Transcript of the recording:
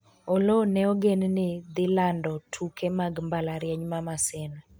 Oloo ne ogen ni dhi lando tuke mag mbalariany ma maseno